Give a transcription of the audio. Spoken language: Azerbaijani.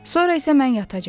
Sonra isə mən yatacam.